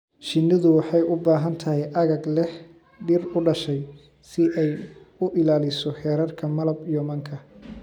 Shinnidu waxay u baahan tahay aagag leh dhir u dhashay si ay u ilaaliso heerarka malab iyo manka.